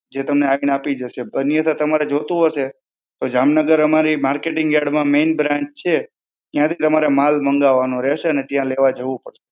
જે તમને આવીને આપી જશે. પણ એ તો તમારા જોઈતું હશે, તો જામનગરમાં અમારી marketing yard માં main branch છે, ત્યાંથી તમારે માલ મંગાવવાનો રહેશે અને ત્યાં લેવા જવું પડશે.